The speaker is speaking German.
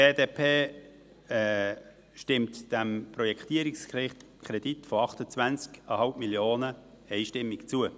Die BDP stimmt dem Projektierungskredit von 28,5 Mio. Franken einstimmig zu.